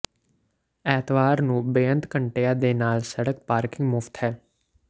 ਐਤਵਾਰ ਨੂੰ ਬੇਅੰਤ ਘੰਟਿਆਂ ਦੇ ਨਾਲ ਸੜਕ ਪਾਰਕਿੰਗ ਮੁਫਤ ਹੈ